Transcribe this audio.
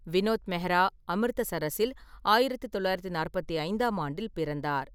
வினோத் மெஹ்ரா அமிர்தசரஸில் ஆயிரத்து தொள்ளாயிரத்து நாற்பத்தைந்தாம் ஆண்டில் பிறந்தார்.